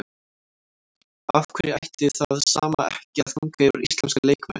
Af hverju ætti það sama ekki að ganga yfir íslenska leikmenn?